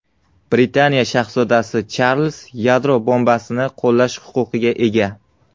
Britaniya shahzodasi Charlz yadro bombasini qo‘llash huquqiga ega.